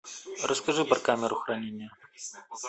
расскажи про камеру хранения